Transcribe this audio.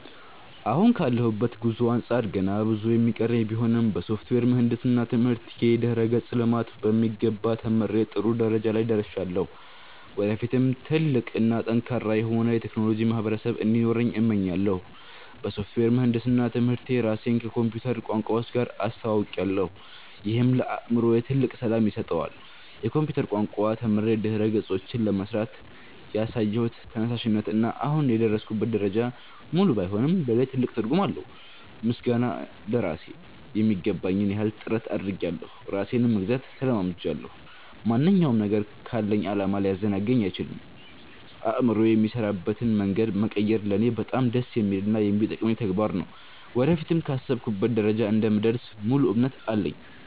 አሁን ካለሁበት ጉዞ አንጻር ገና ብዙ የሚቀረኝ ቢሆንም፣ በሶፍትዌር ምህንድስና ትምህርቴ የድረ-ገጽ ልማትን በሚገባ ተምሬ ጥሩ ደረጃ ላይ ደርሻለሁ። ወደፊትም ትልቅ እና ጠንካራ የሆነ የቴክኖሎጂ ማህበረሰብ እንዲኖረኝ እመኛለሁ። በሶፍትዌር ምህንድስና ትምህርቴ ራሴን ከኮምፒውተር ቋንቋዎች ጋር አስተውውቄያለሁ፤ ይህም ለአእምሮዬ ትልቅ ሰላም ይሰጠዋል። የኮምፒውተር ቋንቋዎችን ተምሬ ድረ-ገጾችን ለመሥራት ያሳየሁት ተነሳሽነት እና አሁን የደረስኩበት ደረጃ፣ ሙሉ ባይሆንም ለእኔ ትልቅ ትርጉም አለው። ምስጋና ለራሴ ....የሚገባኝን ያህል ጥረት አድርጌያለሁ ራሴንም መግዛት ተለማምጃለሁ። ማንኛውም ነገር ካለኝ ዓላማ ሊያዘናጋኝ አይችልም። አእምሮዬ የሚሠራበትን መንገድ መቀየር ለእኔ በጣም ደስ የሚልና የሚጠቅመኝ ተግባር ነው። ወደፊትም ካሰብኩበት ደረጃ እንደምደርስ ሙሉ እምነት አለኝ።